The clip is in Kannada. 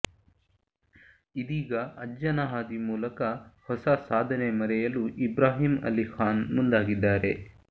ಇದೀಗ ಅಜ್ಜನ ಹಾದಿ ಮೂಲಕ ಹೊಸ ಸಾಧನೆ ಮರೆಯಲು ಇಬ್ರಾಹಿಂ ಅಲಿ ಖಾನ್ ಮುಂದಾಗಿದ್ದಾರೆ